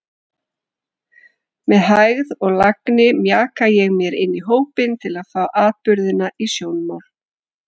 Með hægð og lagni mjaka ég mér inní hópinn til að fá atburðina í sjónmál.